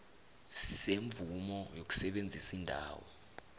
semvumo yokusebenzisa indawo